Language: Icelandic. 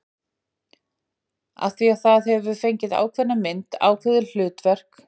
Af því það hefur fengið ákveðna mynd, ákveðið hlutverk, innan rammans.